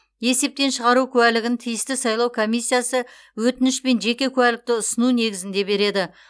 есептен шығару куәлігін тиісті сайлау комиссиясы өтініш пен жеке куәлікті ұсыну негізінде береді